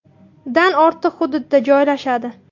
dan ortiq hududida joylashadi.